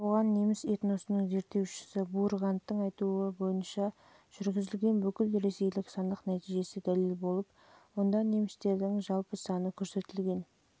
бұған неміс этносының зерттеушісі бургарттың айтуынша жылы жүргізілген бүкілресейлік санақ нәтижесі дәлел болып онда немістердің жалпы саны адамды